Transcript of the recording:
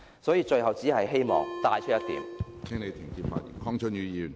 所以，最後只希望帶出一點......